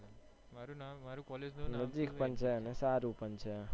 મારુ નામ મારુ collage નું નામ નજીક પણ છે સારું પણ છે.